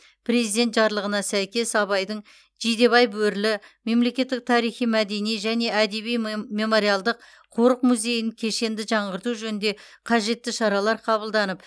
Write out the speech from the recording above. президент жарлығына сәйкес абайдың жидебай бөрілі мемлекеттік тарихи мәдени және әдеби мем мемориалдық қорық музейін кешенді жаңғырту жөнінде қажетті шаралар қабылданып